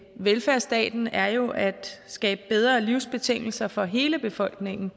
velfærdsstaten er jo at skabe bedre livsbetingelser for hele befolkningen